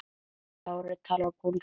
Kári talar pólsku.